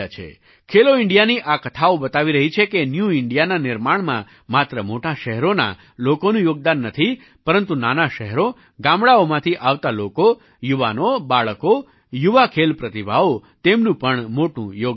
ખેલો ઇન્ડિયાની આ કથાઓ બતાવી રહી છે કે ન્યૂ ઇન્ડિયાના નિર્માણમાં માત્ર મોટાં શહેરોના લોકોનું યોગદાન નથી પરંતુ નાનાં શહેરો ગામડાંઓમાંથી આવતા લોકો યુવાનોબાળકો યુવા ખેલ પ્રતિભાઓ તેમનું પણ મોટું યોગદાન છે